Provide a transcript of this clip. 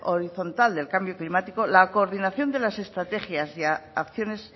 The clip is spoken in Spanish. horizontal del cambio climático la coordinación de las estrategias y acciones